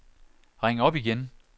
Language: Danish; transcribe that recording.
ring op igen